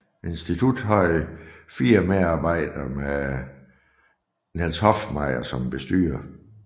Instituttet havde fire medarbejdere med Niels Hoffmeyer som bestyrer